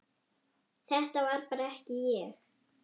Þetta var bara ekki ég.